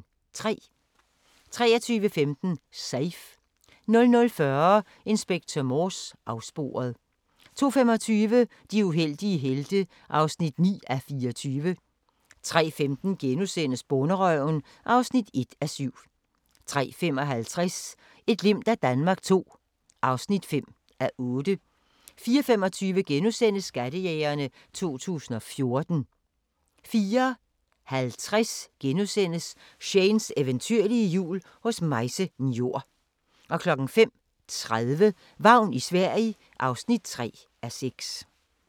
23:15: Safe 00:40: Inspector Morse: Afsporet 02:25: De uheldige helte (9:24) 03:15: Bonderøven (1:7)* 03:55: Et glimt af Danmark II (5:8) 04:25: Skattejægerne 2014 * 04:50: Shanes eventyrlige jul hos Maise Njor * 05:30: Vagn i Sverige (3:6)